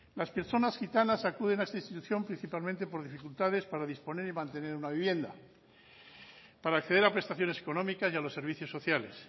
las personas gitanas acuden a esta institución principalmente por dificultades para disponer y mantener una vivienda para acceder a prestaciones económicas y a los servicios sociales